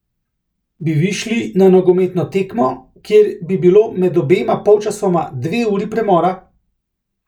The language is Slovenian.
Bi vi šli na nogometno tekmo, kjer bi bilo med obema polčasoma dve uri premora?